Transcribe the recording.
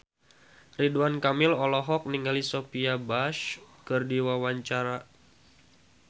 Ridwan Kamil olohok ningali Sophia Bush keur diwawancara